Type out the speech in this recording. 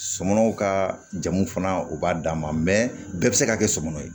Sɔmɔnɔw ka jamu fana u b'a d'an ma mɛ bɛɛ be se ka kɛ sɔmɔnɔ ye